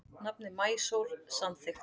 Nafnið Maísól samþykkt